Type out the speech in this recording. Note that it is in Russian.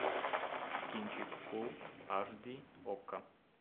кинчик фул аш ди окко